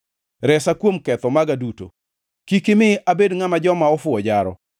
Resa kuom ketho maga duto; kik imi abedi ngʼama joma ofuwo jaro.